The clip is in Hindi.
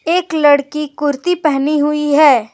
एक लड़की कुर्ती पहनी हुई है।